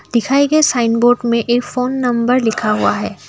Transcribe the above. दिखाई गए sign board में एक फोन नंबर लिखा हुआ है।